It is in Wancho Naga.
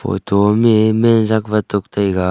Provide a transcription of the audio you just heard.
photo am me man jakwatuk taiga.